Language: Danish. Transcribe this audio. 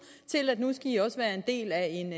til at nu skal i også være en del af en